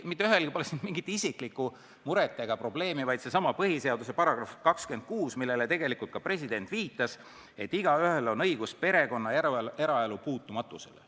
Mitte ühelgi pole siin isiklikku muret ega probleemi, vaid asi on sellessamas põhiseaduse §-s 26, millele ka president viitas ning mille järgi on igaühel õigus perekonna ja eraelu puutumatusele.